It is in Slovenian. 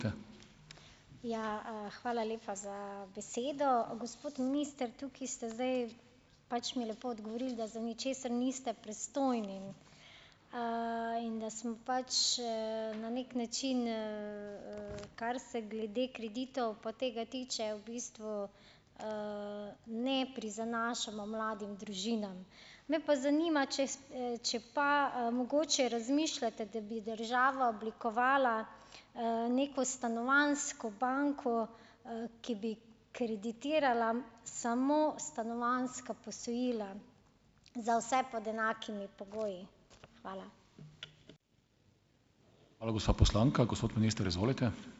Ja, hvala lepa za besedo. Gospod minister, tukaj ste zdaj pač mi lepo odgovorili, da za ničesar niste pristojni. In da sem pač, na neki način, kar se glede kreditov pa tega tiče, v bistvu, ne prizanašamo mladim družinam. Me pa zanima, če če pa, mogoče razmišljate, da bi država oblikovala, neko stanovanjsko banko, ki bi kreditirala samo stanovanjska posojila za vse pod enakimi pogoji. Hvala.